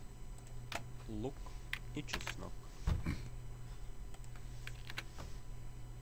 лук и чеснок